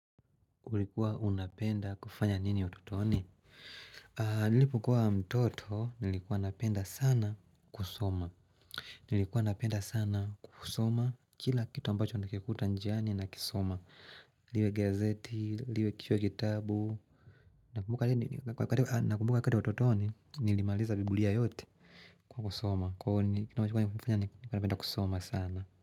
Ulikuwa unapenda kufanya nini ototoni? Nilipokuwa mtoto nilikuwa napenda sana kusoma. Nilikuwa napenda sana kusoma kila kitu ambacho nakikuta njiani nakisoma. Liwe gazeti, liwe isho kitabu. Nakumbuka wakati ototoni nilimaliza biblia yote kwa kusoma. Kwa napenda kusoma sana.